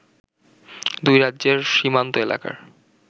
দুই রাজ্যের সীমান্ত এলাকার